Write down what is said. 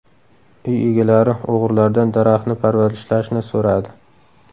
Uy egalari o‘g‘rilardan daraxtni parvarishlashni so‘radi.